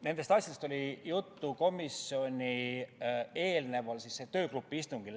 Nendest asjadest oli juttu komisjoni istungile eelnenud töögrupi istungil.